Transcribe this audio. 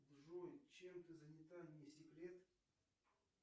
джой чем ты занята не секрет